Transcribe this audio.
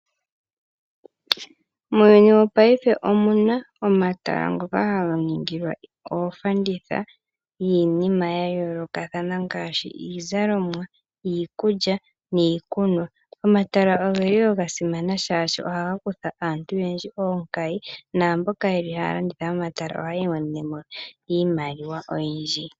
Muuyuni wopaife omu na omatala ngoka haga ningilwa oofanditha niinima ya yoolokathana ngaashi iizalomwa, iikulya niikunwa. Omatala ogeli ga simana oshoka ohaga kutha aantu onkayi naamboka yeli haya landitha momatala ohayi imonenemo iimaliwa oyindji.